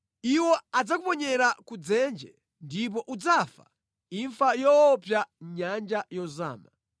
Iwo adzakuponyera ku dzenje ndipo udzafa imfa yoopsa mʼnyanja yozama.